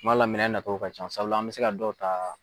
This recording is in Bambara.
Kuma dɔ la minɛn nacogo ka ca sabula an mɛ se ka dɔw ta